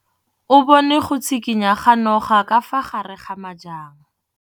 O bone go tshikinya ga noga ka fa gare ga majang.